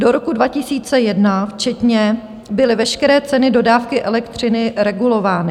Do roku 2001 včetně byly veškeré ceny dodávky elektřiny regulovány.